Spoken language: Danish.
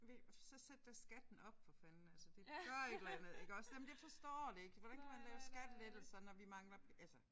V så sæt da skatten op for fanden altså det gør et eller andet iggås jamen jeg forstår det ikke hvordan kan man lave skattelettelser når vi mangler altså